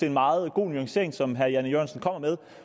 en meget god nuancering som herre jan e jørgensen kommer med